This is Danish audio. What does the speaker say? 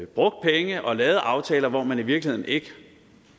brugt penge og lavet aftaler hvor man i virkeligheden ikke